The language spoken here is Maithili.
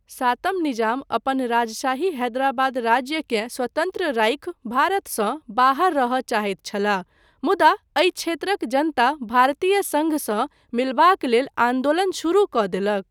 सातम निजाम अपन राजशाही हैदराबाद राज्यकेँ स्वतन्त्र राखि भारतसँ बाहर रहय चाहैत छलाह, मुदा एहि क्षेत्रक जनता भारतीय सङ्घसँ मिलबाक लेल आन्दोलन शुरू कऽ देलक।